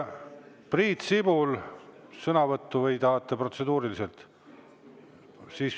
Priit Sibul, tahate sõnavõttu või protseduurilist?